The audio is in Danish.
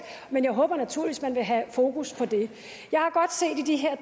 og jeg håber naturligvis at man vil have fokus på det